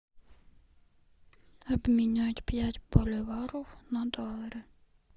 обменять пять боливаров на доллары